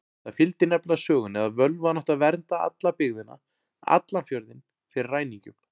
Það fylgdi nefnilega sögunni að völvan átti að vernda alla byggðina, allan fjörðinn, fyrir ræningjum.